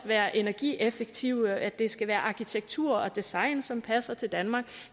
være energieffektive at det skal være arkitektur og design som passer til danmark